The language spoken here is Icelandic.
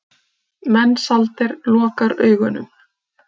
Mensalder lokar augunum.